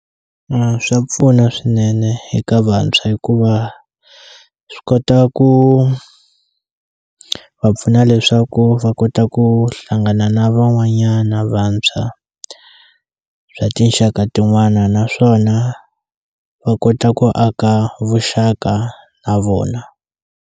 Swa pfuna swinene eka vantshwa hikuva swi kota ku va pfuna leswaku va kota ku hlangana na van'wanyana vantshwa bya tinxaka tin'wana naswona va kota ku aka vuxaka na vona.